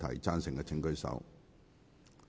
贊成的請舉手。